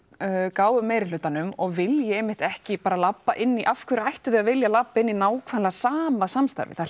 gáfu meiri hlutanum og vilji einmitt ekki bara labba inn í af hverju ættu þau að vilja labba inn í nákvæmlega sama samstarfið það